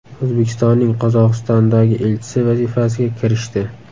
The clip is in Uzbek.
O‘zbekistonning Qozog‘istondagi elchisi vazifasiga kirishdi.